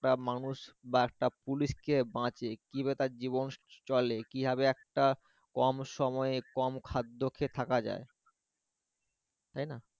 বা মানুষ বা একটা পুলিশকে মারছে, কিভাবে তার জীবন চলে? কিভাবে একটা কম সময়ে কম খাদ্যকে থাকা যায়? তাই না?